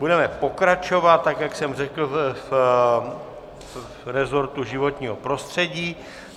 Budeme pokračovat, tak jak jsem řekl, v rezortu životního prostředí.